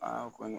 Aa kɔni